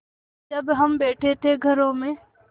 जब हम बैठे थे घरों में